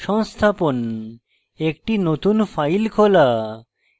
সংস্থাপন একটি নতুন file খোলা